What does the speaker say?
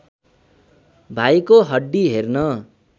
भाइको हड्डी हेर्न